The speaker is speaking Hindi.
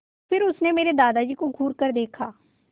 फिर उसने मेरे दादाजी को घूरकर देखा